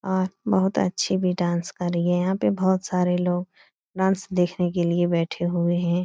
और बहुत अच्छी भी डांस कर रही है | यहाँ पे बहुत सारे लोग डांस देखने के लिए बैठे हुए हैं ।